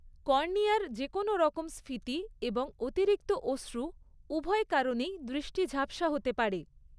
কর্নিয়ার যেকোনও রকম স্ফীতি এবং অতিরিক্ত অশ্রু উভয় কারণেই দৃষ্টি ঝাপসা হতে পারে।